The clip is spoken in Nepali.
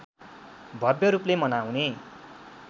भव्य रूपले मनाउने